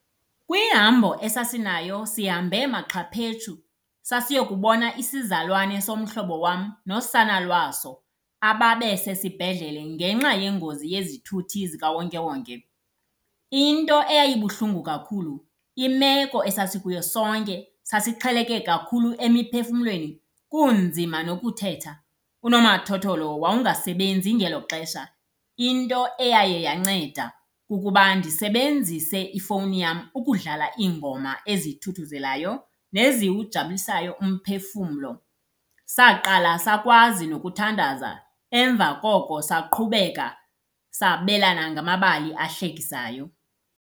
Kwihambo esasinayo sihambe maxhaphetshu sasiye kubona isizalwane somhlobo wam nosana lwaso ababe sesibhedlele ngenxa yengozi yezithuthi zikawonkewonke. Into eyayibuhlungu kakhulu imeko esasikuyo sonke sasixheleke kakhulu emiphefumlweni kunzima nokuthetha. Unomathotholo wawungasebenzi ngelo xesha, into eyaye yanceda kukuba ndisebenzise ifowuni yam ukudlala iingoma ezithuthuzelayo neziwujabulisayo umphefumlo. Saqala sakwazi nokuthandaza emva koko saqhubeka sabelana ngamabali ahlekisayo.